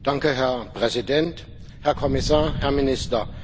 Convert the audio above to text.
Herr Präsident, Herr Kommissar, Herr Minister!